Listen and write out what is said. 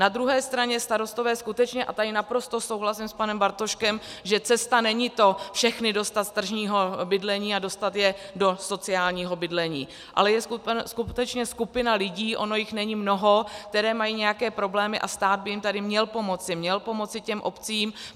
Na druhé straně starostové skutečně, a tady naprosto souhlasím s panem Bartoškem, že cesta není to všechny dostat z tržního bydlení a dostat je do sociálního bydlení, ale je skutečně skupina lidí, ono jich není mnoho, kteří mají nějaké problémy, a stát by jim tady měl pomoci, měl pomoci těm obcím.